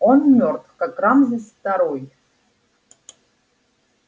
он мёртв как рамзес второй